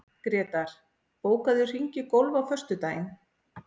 Grétar, bókaðu hring í golf á föstudaginn.